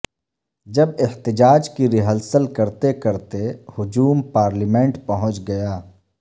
جب احتجاج کی ریہرسل کرتے کرتے ہجوم پارلیمنٹ پہنچ گیا